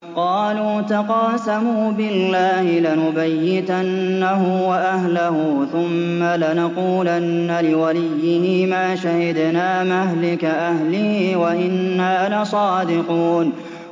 قَالُوا تَقَاسَمُوا بِاللَّهِ لَنُبَيِّتَنَّهُ وَأَهْلَهُ ثُمَّ لَنَقُولَنَّ لِوَلِيِّهِ مَا شَهِدْنَا مَهْلِكَ أَهْلِهِ وَإِنَّا لَصَادِقُونَ